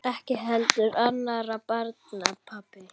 Ekki heldur annarra barna pabbi.